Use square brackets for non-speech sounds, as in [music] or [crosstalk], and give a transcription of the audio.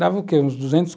Dava o quê? Uns [unintelligible]